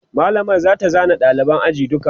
mallamar zata zana ɗaliban ajin duka